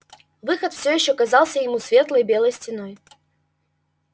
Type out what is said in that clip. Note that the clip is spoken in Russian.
выход всё ещё казался ему светлой белой стеной